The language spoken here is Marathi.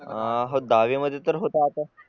अं हो दहावी मध्ये तर होता आता